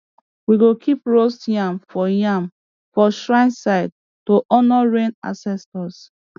we go keep roast yam for yam for shrine side to honour rain ancestors